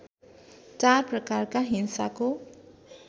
चार प्रकारका हिंसाको